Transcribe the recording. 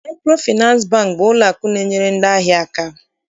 Maịkrofịnansị Bankị bụ ụlọakụ na-enyere ndị ahịa aka.